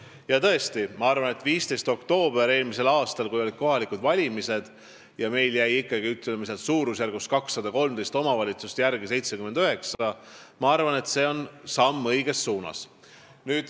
Ja ma tõesti arvan, et see, et meil eelmise aasta 15. oktoobri kohalike valimiste järel jäi 213 omavalitsusest järele 79, on samm õiges suunas.